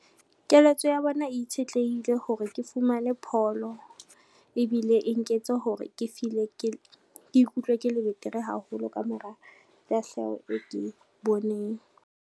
Keletso ya bona itshetlehile hore ke fumane pholo, ebile e nketse hore ke ikutlwe ke le betere haholo ka mora tahleho e ke boneng.